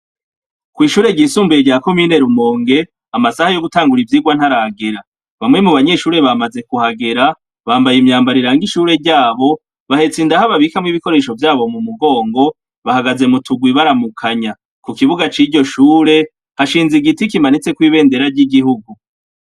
Kw'ishure ry'isumbuye rya commune Rumonge amasaha yo gutangura ivyirwa ntaragera, bamwe mubanyeshure bamaze kuhagera , bambaye imyambaro iranga ishure ryabo bahetse indaho babikamwo vyabo mumugongo bahagaze muturwi baramukanya ku Kibuga ciryo shure hashinze igiti kimatseho ibendera ryigihugu.